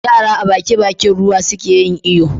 Yara a Baki Bakin ruwa suke yin iyo